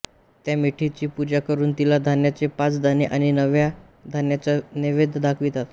त्या मेढीची पूजा करून तिला धान्याचे पाच दाणे आणि नव्या धान्याचा नैवेद्य दाखवितात